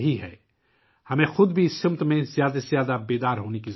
ہمیں خود بھی اس سمت میں زیادہ سے زیادہ بیدار ہونے کی ضرورت ہے